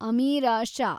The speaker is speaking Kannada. ಅಮೀರಾ ಷಾ